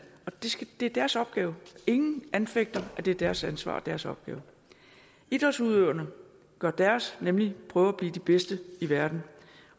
det er deres opgave og ingen anfægter at det er deres ansvar og deres opgave idrætsudøverne gør deres nemlig prøver at blive de bedste i verden